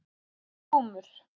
Glúmur